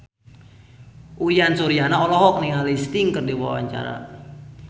Uyan Suryana olohok ningali Sting keur diwawancara